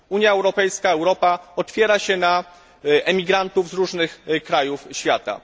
Unia Europejska, Europa, otwiera się na emigrantów z różnych krajów świata.